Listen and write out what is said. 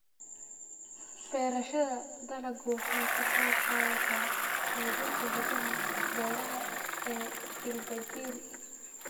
Beerashada dalaggu waxay ka qaybqaadataa xoojinta hiddaha beeraha ee jiilba jiil.